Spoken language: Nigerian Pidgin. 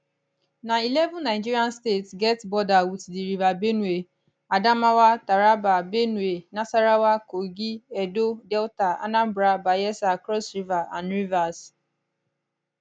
na eleven nigeria states get border wit di river benue adamawa taraba benue nasarawa kogi edo delta anambra bayelsa cross river and rivers